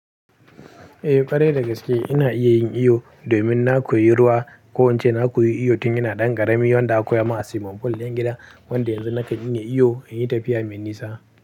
Eh ƙwarai da gaske ina iya yin iyo domin na koyi ruwa ko in ce na koyi iyo tun yana ɗan ƙarami yau na koya a swimming pool na gida wanda yanzu na kan in yi iyo an yi tafiya mai nisa.